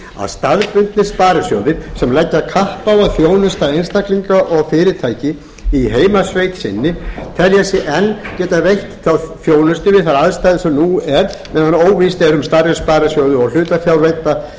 að staðbundnir sparisjóðir sem leggja kapp á að þjónusta einstaklinga og fyrirtæki í heimasveit sinni telja sig enn geta veitt þá þjónustu við þær aðstæður sem nú eru meðan óvíst er um stærri sparisjóði og hlutafjárvædda sem